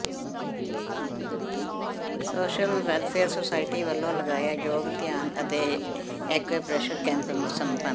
social welfare society ਵੱਲੋਂ ਲਗਾਇਆ ਯੋਗ ਧਿਆਨ ਅਤੇ ਐਕਯੂਪ੍ਰੈਸ਼ਰ ਕੈਂਪ ਸੰਪਨ